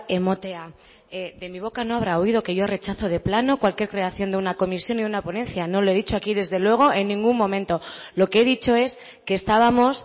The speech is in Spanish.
ematea de mi boca no habrá oído que yo rechazo de plano cualquier creación de una comisión y una ponencia no lo he dicho aquí desde luego en ningún momento lo que he dicho es que estábamos